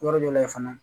Yɔrɔ dɔ la yen fana